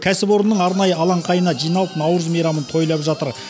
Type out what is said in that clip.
кәсіпорынның арнайы алаңқайына жиналып наурыз мейрамын тойлап жатыр